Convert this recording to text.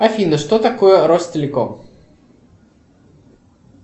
афина что такое ростелеком